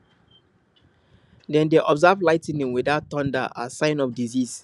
dem dey observe lightning without thunder as sign of disease